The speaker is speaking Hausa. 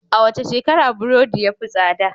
A wace shekara burodi ya fi tsada?